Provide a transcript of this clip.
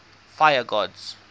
fire gods